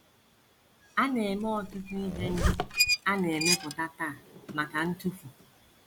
A na - eme ọtụtụ ihe ndị a na - emepụta taa maka ntụfu.